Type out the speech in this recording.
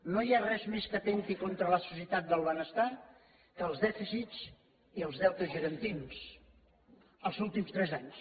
no hi ha res que atempti més contra la societat del benestar que els dèficits i els deutes gegantins els últims tres anys